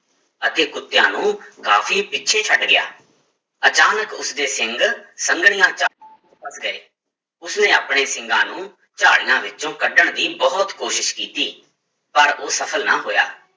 ਅਤੇ ਕੁੁੱਤਿਆਂ ਨੂੰ ਕਾਫ਼ੀ ਪਿੱਛੇ ਛੱਡ ਗਿਆ, ਅਚਾਨਕ ਉਸਦੇ ਸਿੰਘ ਸੰਘਣੀਆਂ ਝਾ ਫਸ ਗਏ, ਉਸਨੇ ਆਪਣੇ ਸਿੰਗਾਂ ਨੂੰ ਝਾੜੀਆਂ ਵਿੱਚੋਂ ਕੱਢਣ ਦੀ ਬਹੁਤ ਕੋਸ਼ਿਸ਼ ਕੀਤੀ ਪਰ ਉਹ ਸਫ਼ਲ ਨਾ ਹੋਇਆ।